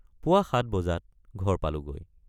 পুৱা ৭ বজাত ঘৰ পালোগৈ।